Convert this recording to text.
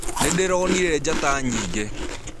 Nĩndirionĩre njata nyĩngĩ.